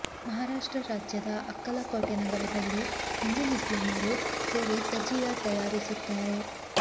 ಮಹಾರಾಷ್ಟ್ರ ರಾಜ್ಯದ ಅಕ್ಕಲಕೋಟೆ ನಗರದಲ್ಲಿ ಹಿಂದು ಮುಸ್ಲಿಮರು ಸೇರಿ ತಜಿಯಾ ತಯಾರಿಸುತ್ತಾರೆ